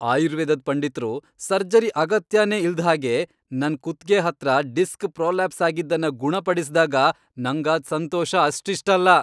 ಆಯುರ್ವೇದದ್ ಪಂಡಿತ್ರು ಸರ್ಜರಿ ಅಗತ್ಯನೇ ಇಲ್ದ್ಹಾಗೆ ನನ್ ಕುತ್ಗೆ ಹತ್ರ ಡಿಸ್ಕ್ ಪ್ರೊಲ್ಯಾಪ್ಸ್ ಆಗಿದ್ದನ್ನ ಗುಣಪಡಿಸ್ದಾಗ ನಂಗಾದ್ ಸಂತೋಷ ಅಷ್ಟಿಷ್ಟಲ್ಲ.